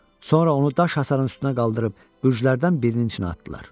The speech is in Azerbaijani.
Sonra onu daş hasarın üstünə qaldırıb bürcülərdən birinin içinə atdılar.